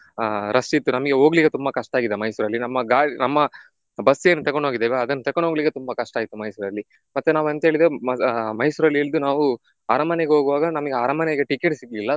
ಆಹ್ rush ಇತ್ತು ನಮ್ಗೆ ಹೋಗ್ಲಿಕ್ಕೆ ತುಂಬಾ ಕಷ್ಟಾಗಿದೆ ಮೈಸೂರಲ್ಲಿ ನಮ್ಮ ಗಾಡಿ ನಮ್ಮ ಬಸ್ ಏನು ತೆಕೊಂಡು ಹೋಗಿದೇವೆ ಅದನ್ನು ತೆಕೊಂಡು ಹೋಗಲಿಕ್ಕೆ ತುಂಬಾ ಕಷ್ಟಾಯ್ತು ಮೈಸೂರಲ್ಲಿ. ಮತ್ತೆ ನಾವು ಎಂತ ಹೇಳಿದೇವೆ ಮೈಸೂರಲ್ಲಿ ಇಳ್ದು ನಾವು ಅರಮನೆಗೆ ಹೋಗುವಾಗ ನಮಿಗೆ ಅರಮನೆಗೆ ticket ಸಿಗ್ಲಿಲ್ಲ